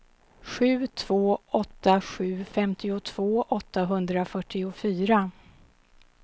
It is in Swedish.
sju två åtta sju femtiotvå åttahundrafyrtiofyra